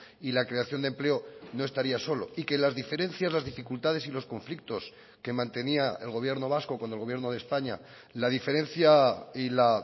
y la creación de empleo no estaría solo y que las diferencias las dificultades y los conflictos que mantenía el gobierno vasco con el gobierno de españa la diferencia y la